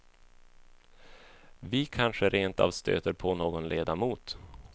Vi kanske rent av stöter på någon ledamot.